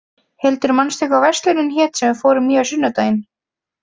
Hildur, manstu hvað verslunin hét sem við fórum í á sunnudaginn?